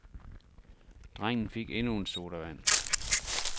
Drengen fik endnu en sodavand.